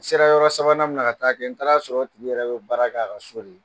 N sera yɔrɔ sabanan min na ka taa kƐ n taara sɔrɔ o tigi yɛrɛ bƐ baara k'a ka so de